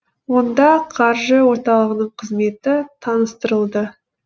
онда қаржы орталығының қызметі таныстырылды